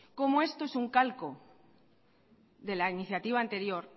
como esto es un calco de la iniciativa anterior